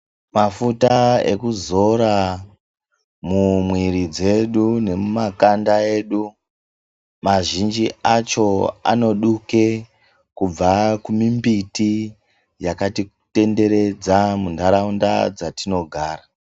Mafuta ekuzora mumwiri dzedu nemumakanda edu mazhinji acho anoduke kubva kumimbiti yakati tenderedza muntaraunda dzatinogara.